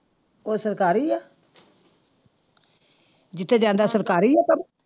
ਉਹ ਸਰਕਾਰੀ ਆ ਜਿੱਥੇ ਜਾਂਦਾ ਸਰਕਾਰੀ ਆ ਕੰਮ।